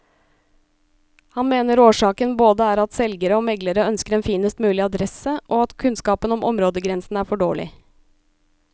Han mener årsaken både er at selgere og meglere ønsker en finest mulig adresse, og at kunnskapen om områdegrensene er for dårlig.